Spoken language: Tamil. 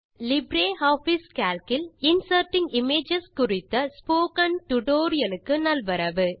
லிப்ரியாஃபிஸ் கால்க் இல் இன்சர்ட்டிங் இமேஜஸ் குறித்த ஸ்போக்கன் டியூட்டோரியல் க்கு நல்வரவு